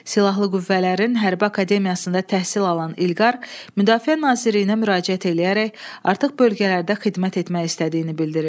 Silahlı Qüvvələrin Hərbi Akademiyasında təhsil alan İlqar Müdafiə Nazirliyinə müraciət eləyərək artıq bölgələrdə xidmət etmək istədiyini bildirir.